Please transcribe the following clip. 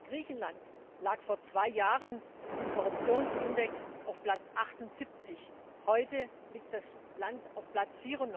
Griechenland lag vor zwei Jahren im Korruptionsindex auf Platz 78, heute liegt das Land auf Platz